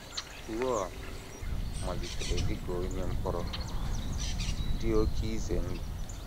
Raoul * malitere dị ka onye mkpọrọ dị oké ize ndụ.